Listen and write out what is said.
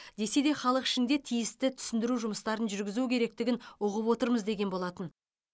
десе де халық ішінде тиісті түсіндіру жұмыстарын жүргізу керектігін ұғып отырмыз деген болатын